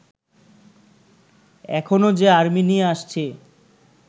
এখনো যে আর্মি নিয়ে আসছি